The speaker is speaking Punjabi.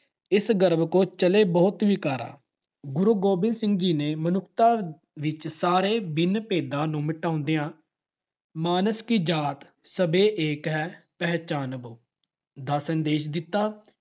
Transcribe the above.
ਇਸੁ ਗਰਬ ਤੇ ਚਲਹਿ ਬਹੁਤੁ ਵਿਕਾਰਾ ॥ ਗੁਰੂ ਗੋਬਿੰਦ ਸਿੰਘ ਜੀ ਨੇ ਮਨੁੱਖਤਾ ਵਿੱਚ ਸਾਰੇ ਬਿੰਨ-ਭੇਦਾਂ ਨੂੰ ਮਿਟਾਉਂਦਿਆਂ ਮਾਨਸ ਕੀ ਜਾਤ ਸਬੈ ਏਕੈ ਪਹਿਚਾਨਬੋ ਦਾ ਸੰਦੇਸ਼ ਦਿੱਤਾ।